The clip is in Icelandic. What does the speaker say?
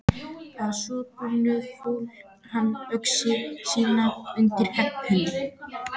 Að svo búnu fól hann öxi sína undir hempunni.